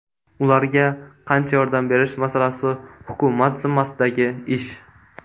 Ularga qancha yordam berish masalasi hukumat zimmasidagi ish.